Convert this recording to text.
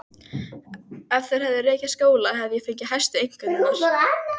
Ef þeir hefðu rekið skóla hefði ég fengið hæstu einkunnir.